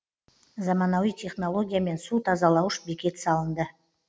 заманауи технологиямен су тазалауыш бекет салынды